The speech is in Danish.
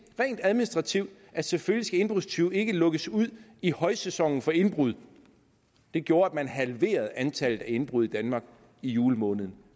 rent administrativt at selvfølgelig skal indbrudstyve ikke lukkes ud i højsæsonen for indbrud gjorde at man halverede antallet af indbrud i danmark i julemåneden